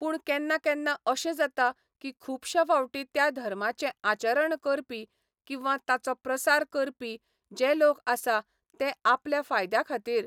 पूण केन्ना केन्ना अशें जाता की खूबश्या फावटीं त्या धर्माचे आचरण करपी किंवा ताचो प्रसार करपी जे लोक आसा ते आपल्या फायद्या खातीर